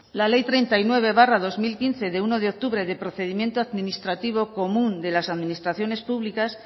la ley treinta y nueve barra dos mil quince de uno de octubre de procedimiento administrativo común de las administraciones públicas